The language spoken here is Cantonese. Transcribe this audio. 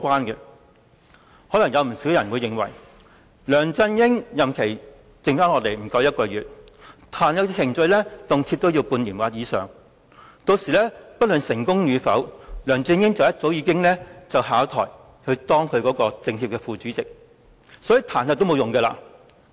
有不少人可能會認為，梁振英的任期餘下不足1個月，但彈劾程序卻動輒半年或以上，屆時不論成功與否，梁振英早已下台當其政協副主席，所以彈劾也沒有用。